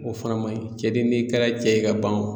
O fana man ɲi cɛ de n'i kɛra cɛ ye ka ban o